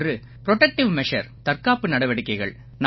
ஒன்று protective measure தற்காப்பு நடவடிக்கைகள்